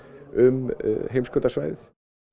um heimskautasvæðið